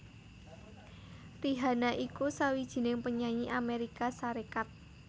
Rihanna iku sawijining penyanyi Amérika Sarékat